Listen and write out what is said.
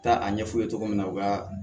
Taa a ɲɛ f'u ye cogo min na u ka